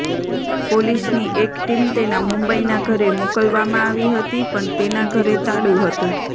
પોલીસની એક ટીમ તેના મુંબઈના ઘરે મોકલવામાં આવી હતી પણ તેના ઘરે તાળુ હતું